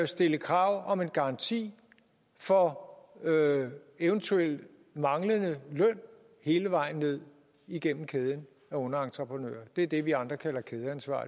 stille krav om en garanti for eventuel manglende løn hele vejen ned igennem kæden af underentreprenører det er det vi andre kalder kædeansvar